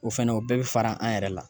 O fɛnɛ o bɛɛ bi fara an yɛrɛ de la